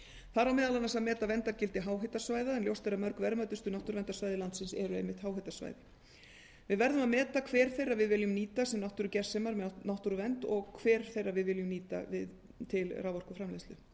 þar á meðal annars að meta verndargildi háhitasvæða en ljóst er að mörg verðmætustu náttúruverndarsvæði landsins eru háhitasvæði við verðum að meta hver þeirra við viljum nýta sem náttúrugersemar með náttúruvernd og hver við viljum nýta til raforkuframleiðslu